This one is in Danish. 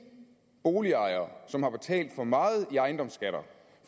boligejere som har betalt for meget i ejendomsskatter